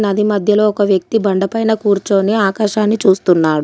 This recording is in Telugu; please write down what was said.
నది మధ్యలో ఒక వ్యక్తి బండ పైన కూర్చొని ఆకాశాన్ని చూస్తున్నాడు.